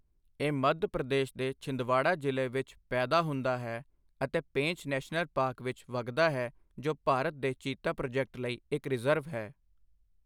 ਇਹ ਮੱਧ ਪ੍ਰਦੇਸ਼ ਦੇ ਛਿੰਦਵਾੜਾ ਜ਼ਿਲ੍ਹੇ ਵਿੱਚ ਪੈਦਾ ਹੁੰਦਾ ਹੈ ਅਤੇ ਪੇਂਚ ਨੈਸ਼ਨਲ ਪਾਰਕ ਵਿੱਚ ਵਗਦਾ ਹੈ ਜੋ ਭਾਰਤ ਦੇ ਚੀਤਾ ਪ੍ਰੋਜੈਕਟ ਲਈ ਇੱਕ ਰਿਜ਼ਰਵ ਹੈ।